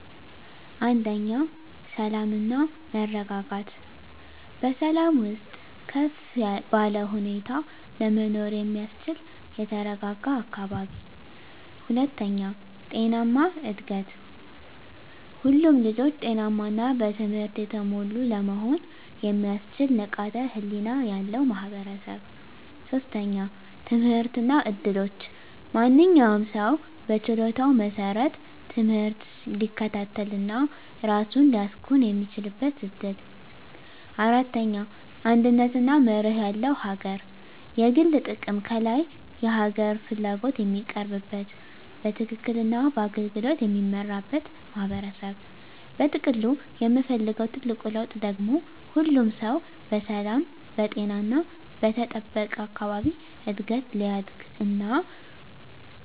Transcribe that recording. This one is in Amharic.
1. ሰላም እና መረጋጋት በሰላም ውስጥ ከፍ ባለ ሁኔታ ለመኖር የሚያስችል የተረጋጋ አካባቢ። 2. ጤናማ እድገት ሁሉም ልጆች ጤናማ እና በትምህርት የተሞሉ ለመሆን የሚያስችል ንቃተ ህሊና ያለው ማህበረሰብ። 3. ትምህርት እና እድሎች ማንኛውም ሰው በችሎታው መሰረት ትምህርት ሊከታተል እና ራሱን ሊያሳኵን የሚችልበት እድል። 4. አንድነት እና መርህ ያለው አገር የግል ጥቅም ከላይ የሀገር ፍላጎት የሚቀርብበት፣ በትክክል እና በአገልግሎት የሚመራበት ማህበረሰብ። በጥቅሉ የምፈልገው ትልቁ ለውጥ ደግሞ ሁሉም ሰው በሰላም፣ በጤና እና በተጠበቀ አካባቢ እድገት ሊያድግ እና